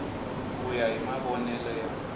ku ya hi mavonele ya